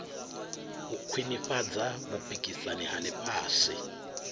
u khwinifhadza vhupikisani ha ḽifhasi